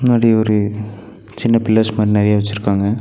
முன்னாடி ஒரு சின்ன பில்லர்ஸ் மாரி நெறைய வெச்சுருக்காங்க.